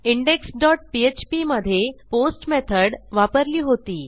index dot PHP मधे post method वापरली होती